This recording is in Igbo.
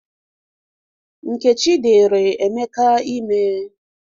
Nkechi dịrị Emeka ime